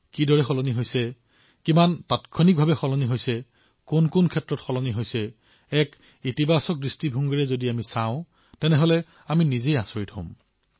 কিদৰে পৰিৱৰ্তিত হৈছে কিমান তীব্ৰতাৰে পৰিৱৰ্তিত হৈছে কি কি ক্ষেত্ৰত পৰিৱৰ্তিত হৈছে এক ইতিবাচক চিন্তাৰ সৈতে যদি আমি প্ৰত্যক্ষ কৰো তেন্তে নিজেই আচৰিত হৈ পৰিম